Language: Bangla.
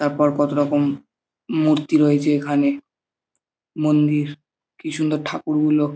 তারপর কত রকম মূর্তি রয়েছে এখানে মন্দির কি সুন্দর ঠাকুরগুলো।